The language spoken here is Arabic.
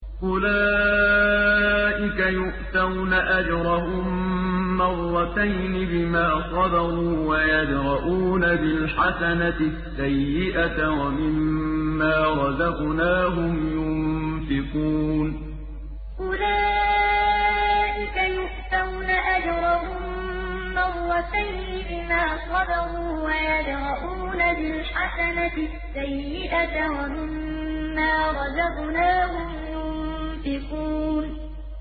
أُولَٰئِكَ يُؤْتَوْنَ أَجْرَهُم مَّرَّتَيْنِ بِمَا صَبَرُوا وَيَدْرَءُونَ بِالْحَسَنَةِ السَّيِّئَةَ وَمِمَّا رَزَقْنَاهُمْ يُنفِقُونَ أُولَٰئِكَ يُؤْتَوْنَ أَجْرَهُم مَّرَّتَيْنِ بِمَا صَبَرُوا وَيَدْرَءُونَ بِالْحَسَنَةِ السَّيِّئَةَ وَمِمَّا رَزَقْنَاهُمْ يُنفِقُونَ